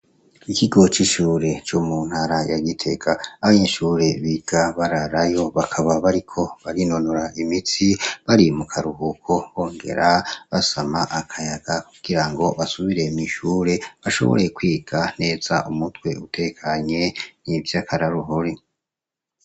Ikigo c'ishure co mu ntara ya Gitega, abanyeshure biga bararayo bakaba bariko barinonora imitsi, bari mu karuhuko bongera basama akayaga kugirango basubire mw'ishure, bashobore kwiga neza umutwe utekanye. Ni ivyo akaroruhore.